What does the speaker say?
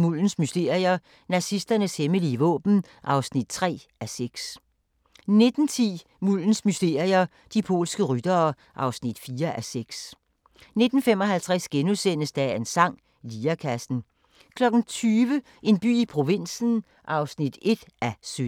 Muldens mysterier – Nazisternes hemmelige våben (3:6)* 19:10: Muldens mysterier – De polske ryttere (4:6) 19:55: Dagens sang: Lirekassen * 20:00: En by i provinsen (1:17)